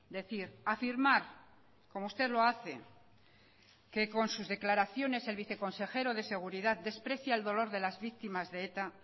decir afirmar como usted lo hace que con sus declaraciones el viceconsejero de seguridad desprecia el dolor de las víctimas de eta